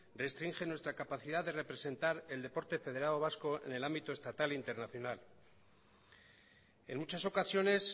restringe nuestra capacidad de representar el deporte federado vasco en el ámbito estatal e internacional en muchas ocasiones